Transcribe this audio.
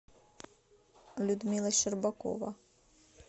людмила щербакова